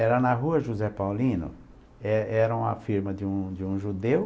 Era na rua José Paulino, é era uma firma de um de um judeu.